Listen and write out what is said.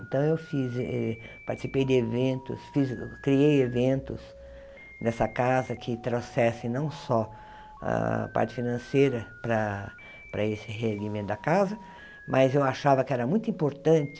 Então, eu fiz eh participei de eventos, fiz criei eventos nessa casa que trouxessem não só a parte financeira para para esse revimento da casa, mas eu achava que era muito importante